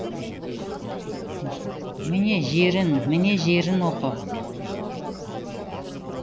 міне жерін міне жерін оқы